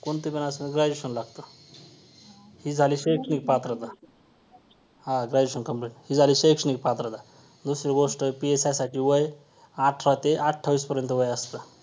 कोणतं पण असू दे graduation लागतं ही झाली शैक्षणिक पात्रता हां graduation complete ही झाली शैक्षणिक पात्रता दुसरी गोष्ट PSI साठी वय अठरा ते अठ्ठावीसपर्यंत वय असतं.